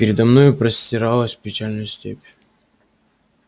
передо мною простиралась печальная степь